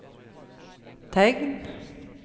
tegn